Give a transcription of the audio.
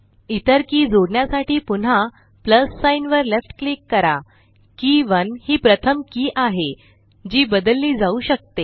इतर की जोडण्यासाठी पुन्हा प्लस साइन वर लेफ्ट क्लिक करा के 1 हि प्रथम की आहे जी बदलली जाऊ शकते